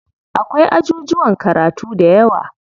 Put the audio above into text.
Akwai ajujuwan karatu dayawa.